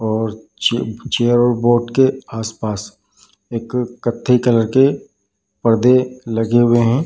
और चेयर और बोट के आस-पास एक कत्थे कलर के पर्दे लगे हुए हैं।